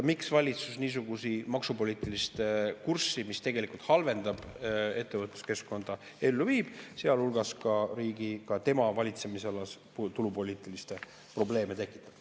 Miks valitsus viib ellu niisugust maksupoliitilist kurssi, mis tegelikult halvendab ettevõtluskeskkonda, sealhulgas tekitab tema valitsemisalas tulupoliitilisi probleeme?